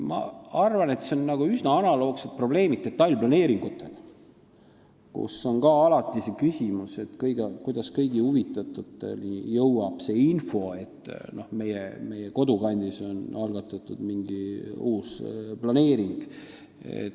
Ma arvan, et siin on üsna analoogsed probleemid detailplaneeringutega, kus on ka alati see küsimus, kuidas kõik huvitatud saaksid infot, et nende kodukandis on algatatud mingi uus planeering.